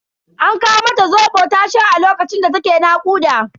An kawo mata Zobo ta sha a lokacin da ta ke nakuda.